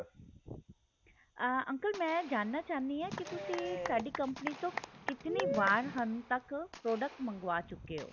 ਅਹ uncle ਮੈ ਜਾਨਣਾ ਚਾਹੁੰਦੀ ਹਾਂ ਕਿ ਤੁਸੀਂ ਸਾਡੀ ਕੰਪਨੀ ਤੋ ਕਿਥਣੀ ਵਾਰ ਹੁਣ ਤੱਕ product ਮੰਗਵਾ ਚੁੱਕੇ ਹੋ